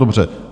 Dobře.